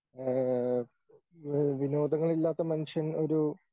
ഏഹ് ഏഹ് വിനോദങ്ങളില്ലാത്ത മനുഷ്യൻ ഒരു